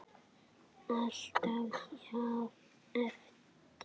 Alltaf jafn erfitt?